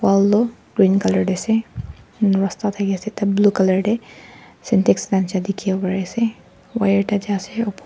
wall tu green colour te ase rasta thaki ase blue colour te sentex wire tarte ase.